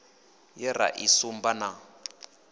ye ra i sumba na